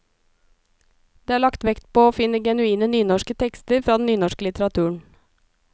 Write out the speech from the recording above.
Det er lagt vekt på å finne genuine nynorske tekster fra den nynorske litteraturen.